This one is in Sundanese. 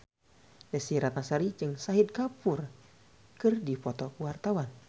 Desy Ratnasari jeung Shahid Kapoor keur dipoto ku wartawan